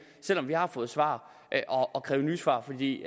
selv om vi har fået svar at kræve nye svar fordi